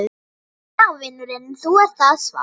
Já vinurinn. nú er það svart!